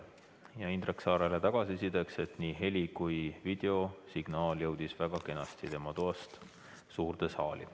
Ütlen Indrek Saarele tagasisidena, et nii heli- kui ka videosignaal jõudsid väga kenasti tema toast suurde saali.